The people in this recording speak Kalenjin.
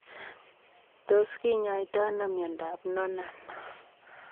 Tos kinyoitoo anoo miondoop Noonan?